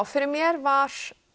fyrir mér var